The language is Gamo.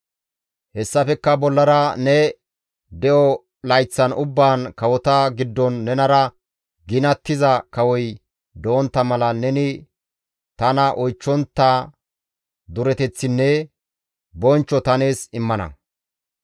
Hessafekka bollara ne de7o layththan ubbaan kawota giddon nenara ginattiza kawoy dontta mala neni tana oychchontta dureteththinne bonchcho ta nees immana.